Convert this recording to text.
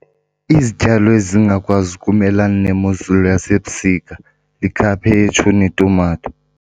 Izityalo ezingakwazi ukumelana nemozulu yasebusika yikhaphetshu netumato.